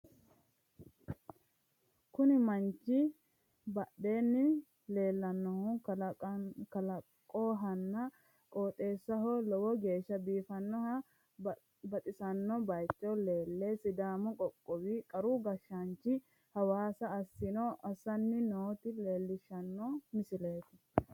Konni manchi badheenni leellannohu kalaqohonna qooxxeessaho lowo geeshsha biifannonna baxisanno baaycho leelle sidaamu qoqqowi qaru gashshaanchi hasaawa assanni noota leellishshano misileeti.